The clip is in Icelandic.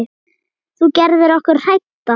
Þú gerðir okkur hrædda.